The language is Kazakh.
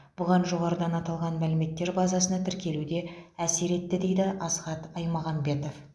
бұған жоғарыда аталған мәліметтер базасына тіркелу де әсер етті дейді асхат аймағамбетов